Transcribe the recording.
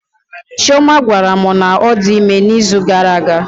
Chioma gwara mụ na ọ dị ime na izu gara aga